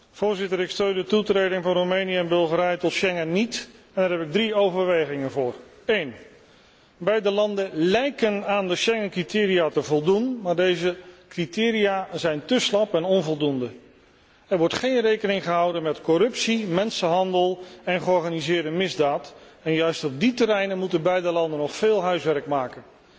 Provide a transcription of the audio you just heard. Voorzitter, ik steun de toetreding van Roemenië en Bulgarije tot Schengen niet, en daar heb ik drie overwegingen voor. Ten eerste beide landen lijken aan de Schengen criteria te voldoen, maar deze criteria zijn te slap en onvoldoende. Er wordt geen rekening gehouden met corruptie, mensenhandel en georganiseerde misdaad, en juist op die terreinen moeten beide landen nog veel huiswerk maken.